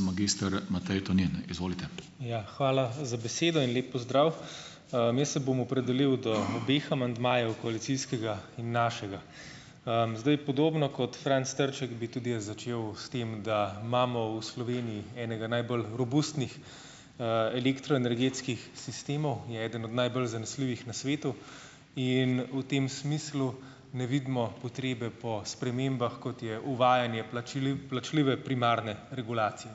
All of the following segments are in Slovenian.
magister Matej Tonin, izvolite. Ja, hvala za besedo in lep pozdrav. jaz se bom opredelil do obeh amandmajev, koalicijskega in našega, zdaj podobno kot Franc Trček bi tudi jaz začel s tem, da imamo v Sloveniji enega najbolj robustnih, elektroenergetskih sistemov, je eden od najbolj zanesljivih na svetu in v tem smislu ne vidimo potrebe po spremembah, kot je uvajanje plačljive primarne regulacije,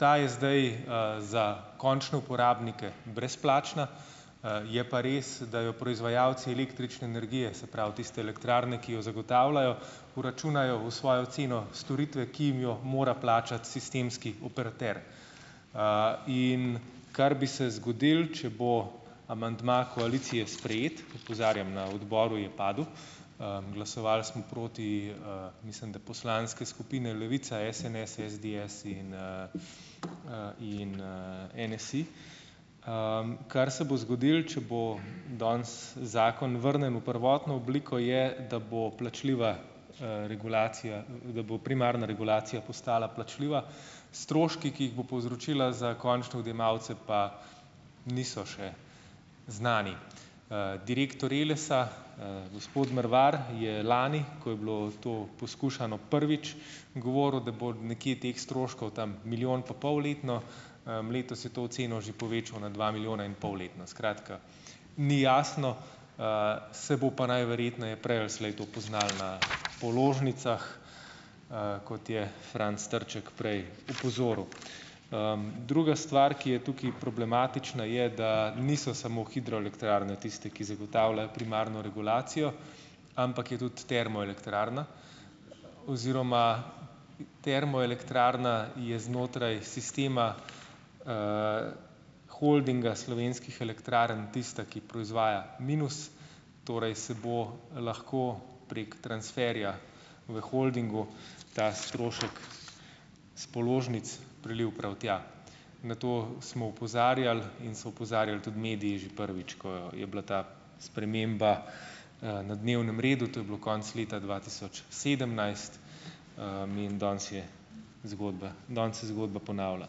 ta je zdaj, za končne uporabnike brezplačna, je pa res, da jo proizvajalci električne energije, se pravi, tiste elektrarne, ki jo zagotavljajo, vračunajo v svojo ceno storitve, ki jim jo mora plačati sistemski operater, in kar bi se zgodilo, če bo amandma koalicije sprejet, opozarjam na odboru in padel, glasovali smo proti, mislim, da poslanske skupine Levica, SNS in SDS in, in, NSi, kar se bo zgodilo, če bo danes zakon vrnjen v prvotno obliko, je, da bo plačljiva, regulacija, da bo primarna regulacija postala plačljiva, stroške, ki jih bo povzročila za končne odjemalce, pa niso še znani, direktor Elesa, gospod Mrvar je lani, ko je bilo to poskušano prvič, govoril, da bo nekje teh stroškov tam milijon pa pol letno, letos je to oceno že povečal na dva milijona in pol letno, skratka, ni jasno, se bo pa najverjetneje prej ali slej to poznalo na položnicah, kot je Franc Trček prej opozoril, druga stvar, ki je tukaj problematična, je, da niso samo hidroelektrarne tiste, ki zagotavljajo primarno regulacijo, ampak je tudi termoelektrarna oziroma termoelektrarna je znotraj sistema, Holdinga slovenskih elektrarn tista, ki proizvaja minus, torej se bo lahko prek transferja v holdingu ta strošek s položnic prelil prav tja, na to smo opozarjali, in so opozarjali tudi mediji že prvič, ko je bila ta sprememba, na dnevnem redu, to je bilo konec leta dva tisoč sedemnajst, in danes je, zgodba danes se zgodba ponavlja,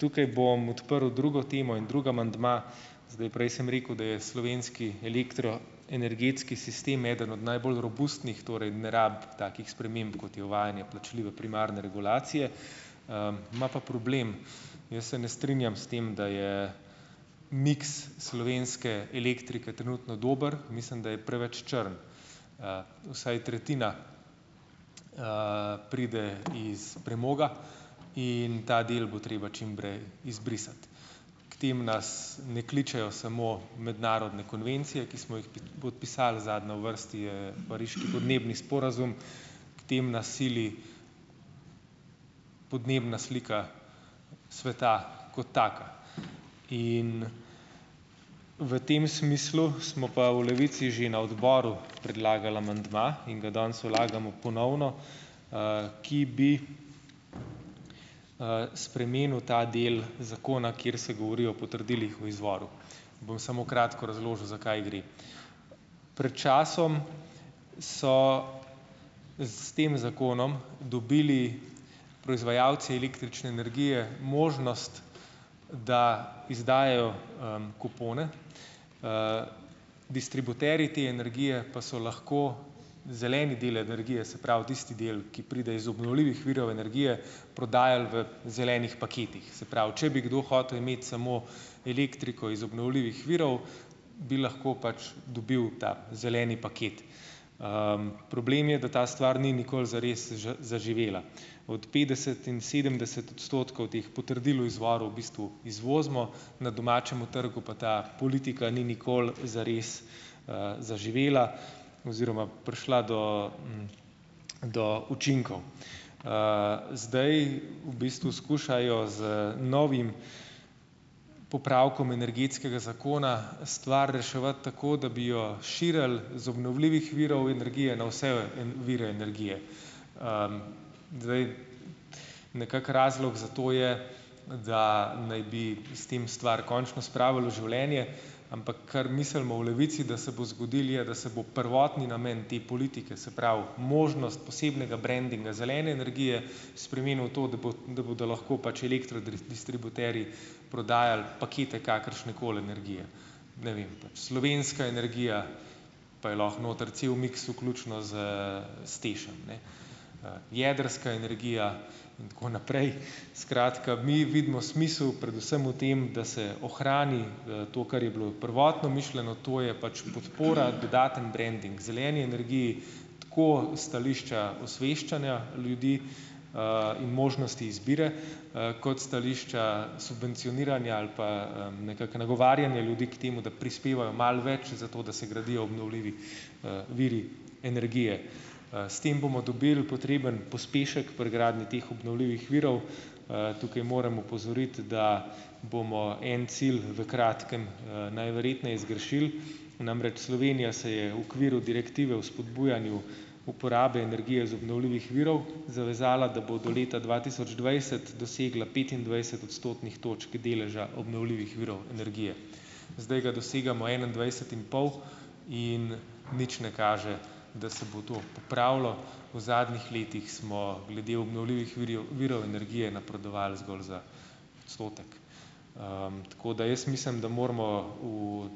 tukaj bom odprl drugo temo, oni drug amandma, zdaj, prej sem rekel, da je slovenski elektro- energetski sistem eden najbolj robustnih, torej ne rabi takih sprememb, kot je uvajanje plačljive primarne regulacije, ima pa problem, jaz se ne strinjam s tem, da je miks slovenske elektrike trenutno dober, mislim, da je preveč črn, vsaj tretjina, pride iz premoga in da del bo treba čimprej izbrisati, k temu nas ne kličejo samo mednarodne konvencije, ki smo jih podpisali, zadnja v vrsti je pariški podnebni sporazum, k temu nas sili podnebna slika sveta kot taka in v tem smislu smo pa v Levici že na odboru predlagali amandma in ga danes vlagamo ponovno, ki bi, spremenil ta del zakona, kjer se govori o potrdilih o izvoru, bom samo kratko razložil, za kaj gre. Pred časom so s tem zakonom dobili proizvajalci električne energije možnost, da izdajajo, kupone, distributerji te energije pa so lahko zeleni del energije, se pravi, tisti del, ki pride iz obnovljivih virov energije, prodajali v zelenih paketih, se pravi, če bi kdo hotel imeti samo elektriko iz obnovljivih virov, bi lahko pač dobil ta zeleni paket, problem je, da ta stvar ni nikoli zares zaživela, od petdeset in sedemdeset odstotkov teh potrdil o izvoru v bistvu izvozimo, na domačemu trgu pa ta politika ni nikoli zares, zaživela oziroma prišla do do učinkov, zdaj v bistvu skušajo z novim popravkom energetskega zakona stvar reševati tako, da bi jo širili z obnovljivih virov energije na vse vire energije, zdaj, nekako razlog za to je, da naj bi s tem stvar končno spravili v življenje, ampak kar mislimo v Levici, da se bo zgodilo, je, da se bo prvotni namen te politike, se pravi, možnost posebnega brandinga zelene energije spremenila v to, da bo, da bodo lahko pač elektro distributerji prodajali pakete kakršnekoli energije, ne vem, slovenska energija, pa je lahko noter cel miks vključno s s TEŠ-em, ne, jedrska energija in tako naprej, skratka, mi vidimo smisel predvsem v tem, da se ohrani, to, kar je bilo prvotno mišljeno, to je pač podpora, dodatni branding zeleni energiji, tako stališča osveščanja ljudi, in možnosti izbire, kot stališča subvencioniranja ali pa, nekako nagovarjanja ljudi k temu, da prispevajo malo več, zato da se gradijo obnovljivi, viri energije, s tem bomo dobili potreben pospešek pri gradnji teh obnovljivih virov, tukaj moram opozoriti, da bomo en cilj v kratkem, najverjetneje zgrešili, namreč Slovenija se je v okviru direktive o spodbujanju uporabe energije iz obnovljivih virov zavezala, da bo do leta dva tisoč dvajset dosegla petindvajset odstotnih točk deleža obnovljivih virov energije, zdaj ga dosegamo enaindvajset in pol, in nič ne kaže, da se bo to popravilo, v zadnjih letih smo glede obnovljivih virov energije napredovali zgolj za odstotek, tako da jaz mislim, da moramo v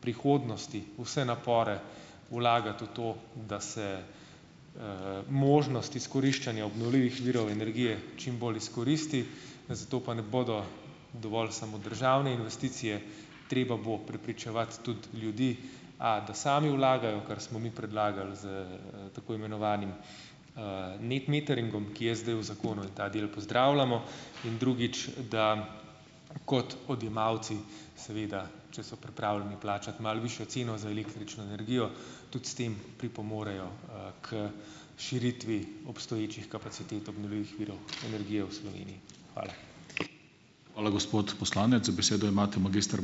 prihodnosti vse napore vlagati v to, da se, možnost izkoriščanja obnovljivih virov energije čimbolj izkoristi, zato pa ne bodo dovolj samo državne investicije, treba bo prepričevati tudi ljudi, a da sami vlagajo, kar smo mi predlagali s tako imenovanim, net meteringom, ki je zdaj v zakonu, in ta del pozdravljamo, in drugič, da kot odjemalci, seveda, če so pripravljeni plačati malo višjo ceno za električno energijo, tudi s tem pripomorejo, k širitvi obstoječih kapacitet obnovljivih virov energije v Sloveniji. Hvala. Hvala, gospod poslanec, besedo imate magister ...